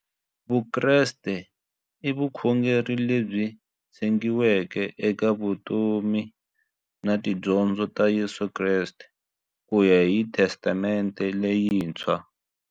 Vukreste i vukhongeri lebyi tshegiweke eka vutomi na tidyondzo ta Yesu Kreste kuya hi Testamente leyintshwa.